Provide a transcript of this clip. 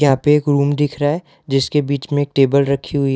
या पे एक रूम दिख रहा है जिसके बीच में टेबल रखी हुई --